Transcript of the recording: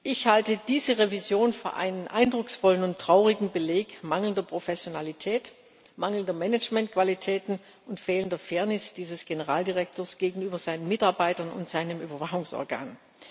Ich halte diese Revision für einen eindrucksvollen und traurigen Beleg für mangelnde Professionalität, mangelnde Managementqualitäten und fehlende Fairness dieses Generaldirektors gegenüber seinen Mitarbeitern und seinem Überwachungsorgan.